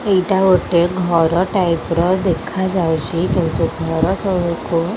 ଏଇଟା ଗୋଟେ ଘର ଟାଇପ୍ ର ଦେଖାଯାଉଚି। କିନ୍ତୁ ଘର ତଳକୁ --